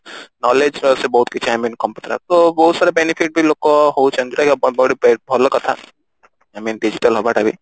knowledge ବହୁତ କିଛି I mean ବହୁତ ସାରା benefit ବି ଲୋକ ହଉଛନ୍ତି ଯୋଉଟା କି ବ ବ ବହୁତ ଭଲ କଥା I mean digital ହବା ଟା ବି